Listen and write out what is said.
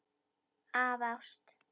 Af ást.